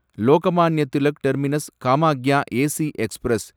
Lokmanya Tilak terminus Kamakhya AC express